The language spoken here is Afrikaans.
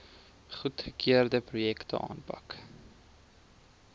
goedgekeurde projekte aanpak